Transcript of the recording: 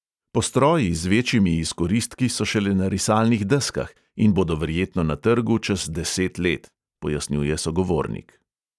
Postroji z večjimi izkoristki so šele na risalnih deskah in bodo verjetno na trgu čez deset let,' pojasnjuje sogovornik.